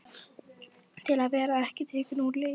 Til að vera ekki tekinn úr leik.